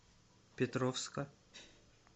петровска